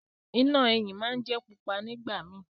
Iná eyín món jé pupa nìgbà mí